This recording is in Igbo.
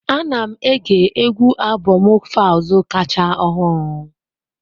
Ana m ege égwù albomu Falz kacha ọhụrụ.